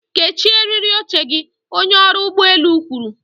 kechie eriri oche gị, onye ọrụ ụgbọ elu kwuru.